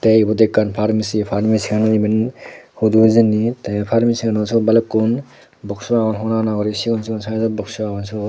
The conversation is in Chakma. tey ibot ekkan parmesi parmesi ano iben hudu hijeni te ey parmesian siyot balukkun boxu agon hona hona guri sigon sigon saijod boxu agon siyot.